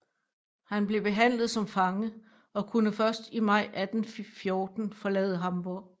Han blev behandlet som fange og kunne først i maj 1814 forlade Hamborg